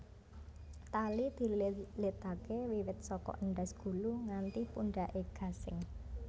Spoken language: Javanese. Tali dililitaké wiwit saka endhas gulu nganti pundhaké gasing